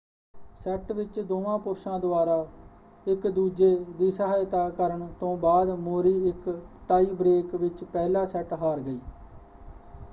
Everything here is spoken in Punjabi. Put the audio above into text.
ਸੈੱਟ ਵਿੱਚ ਦੋਵਾਂ ਪੁਰਸ਼ਾਂ ਦੁਆਰਾ ਇੱਕ ਦੂਜੇ ਦੀ ਸਹਾਇਤਾ ਕਰਨ ਤੋਂ ਬਾਅਦ ਮੌਰੀ ਇੱਕ ਟਾਈ ਬ੍ਰੇਕ ਵਿੱਚ ਪਹਿਲਾ ਸੈੱਟ ਹਾਰ ਗਈ।